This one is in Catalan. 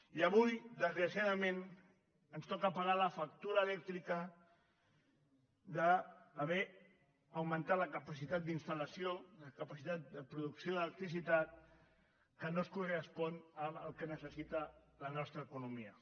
i avui desgraciadament ens toca pagar la factura elèctrica d’haver augmentat la capacitat d’installació la capacitat de producció d’electricitat que no es correspon amb el que necessita la nostra economia